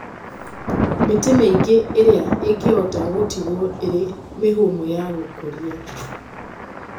Mĩtĩ mĩingĩ ĩrĩa ĩngĩhota gũtigwo ĩrĩ mĩhũmũ ya gũkũria